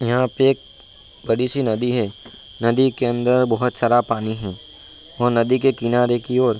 यहाँ पे एक बड़ी सी नदी है नदी के अंदर बहुत सारा पानी है और नदी के किनारे की ओर --